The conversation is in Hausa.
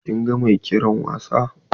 Kin ga mai kera wasa?